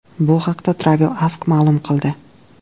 Bu haqda Travel Ask ma’lum qildi.